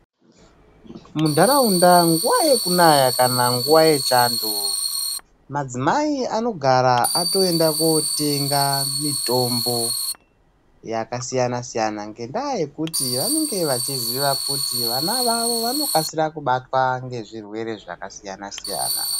Muntaraunda nguva yekunaya kana nguva yechando Madzimai anogara atoenda kotenga mitombo yakasiyana siyana ngendaa yekuti vanenge vachiziva kuti vana vavo vanokasira kubatwa nezvirwerwe zvakasiyana siyana